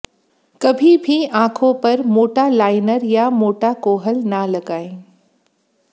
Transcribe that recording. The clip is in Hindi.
कभी भी आंखों पर मोटा लाइनर या मोटा कोहल न लगाएं